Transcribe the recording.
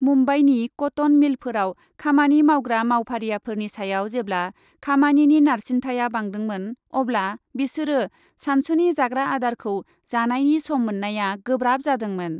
मुम्बाइनि कटन मिलफोराव खामानि मावग्रा मावफारियाफोरनि सायाव जेब्ला खामानिनि नारसिन्थाया बांदोंमोन अब्ला बिसोरो सानसुनि जाग्रा आदारखौ जानायनि सम मोन्नाया गोब्राब जादोंमोन।